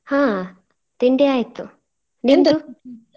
ಹಾ ತಿಂಡಿ ಆಯ್ತು.